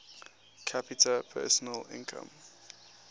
capita personal income